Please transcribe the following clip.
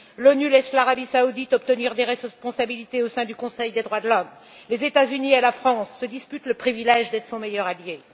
L'ONU laisse l'Arabie saoudite obtenir des responsabilités au sein du Conseil des droits de l'homme, les États Unis et la France se disputent le privilège d'être son meilleur allié.